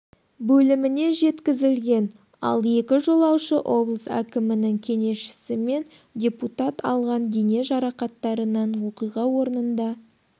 бөліміне жеткізілген ал екі жолаушы облыс әкімінің кеңесшісі мен депутат алған дене жарақаттарынан оқиға орнында